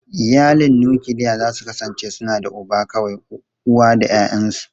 Iyalin nukiliya za su kasance suna da uba kawai, uwa da ’ya’yansu.